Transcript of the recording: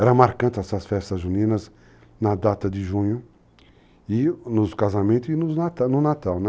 Eram marcantes essas festas juninas na data de junho, nos casamentos e no Natal.